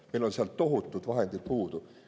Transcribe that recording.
Meil on seal tohutud vahendid puudu.